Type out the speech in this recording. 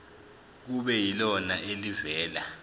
kube yilona elivela